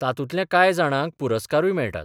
तातूंतल्या कांय जाणांक पुरस्कारूय मेळटात.